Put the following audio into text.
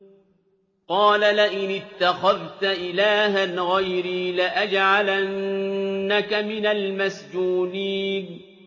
قَالَ لَئِنِ اتَّخَذْتَ إِلَٰهًا غَيْرِي لَأَجْعَلَنَّكَ مِنَ الْمَسْجُونِينَ